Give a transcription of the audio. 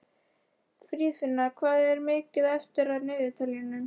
Friðfinna, hvað er mikið eftir af niðurteljaranum?